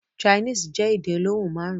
Chinese jẹ́ èdè olóhùn márùn.